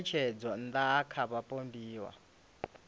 ya ṋetshedzomaa ṋda kha vhapondiwa